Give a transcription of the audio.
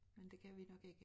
Men det kan vi nok ikke